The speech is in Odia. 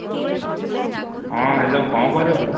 ହଁ Hello କ'ଣ କରୁଛୁ ?